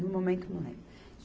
No momento, não lembro.